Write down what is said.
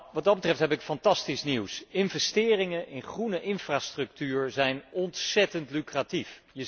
Wat dat betreft heb ik fantastisch nieuws investeringen in groene infrastructuur zijn ontzéttend lucratief.